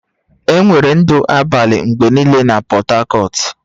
Enwere ndụ abalị mgbe niile na Portharcourt